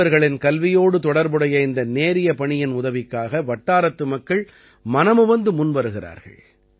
சிறுவர்களின் கல்வியோடு தொடர்புடைய இந்த நேரிய பணியின் உதவிக்காக வட்டாரத்து மக்கள் மனமுவந்து முன்வருகிறார்கள்